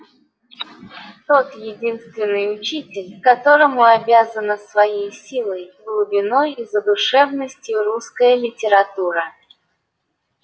тот единственный учитель которому обязана своей силой глубиной и задушевностью русская литература